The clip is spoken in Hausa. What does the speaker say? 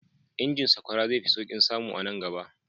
Injin sakwara zai fi sauƙin samu a nan gaba.